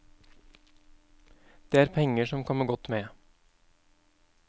Det er penger som kommer godt med.